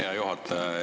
Hea juhataja!